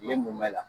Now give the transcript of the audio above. Ne mun mɛnna